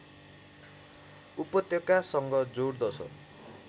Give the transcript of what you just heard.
उपत्यकासँग जोड्दछ